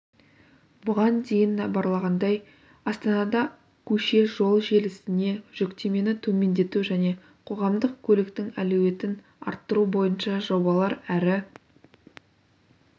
бұған дейін іабарланғандай астанада көше-жол желісіне жүктемені төмендету және қоғамдық көліктің әлеуетін арттыру бойынша жобалар әрі